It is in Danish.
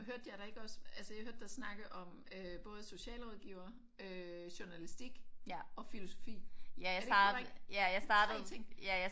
Hørte jeg dig ikke også altså jeg hørte dig snakke om øh både socialrådgiver øh journalistik og filosofi er det ikke korrekt? Det er 3 ting